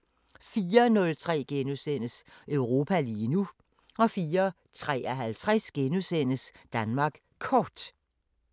04:03: Europa lige nu * 04:53: Danmark Kort *